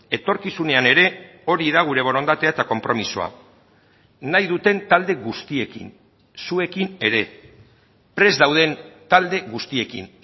etorkizunean ere hori da gure borondatea eta konpromisoa nahi duten talde guztiekin zuekin ere prest dauden talde guztiekin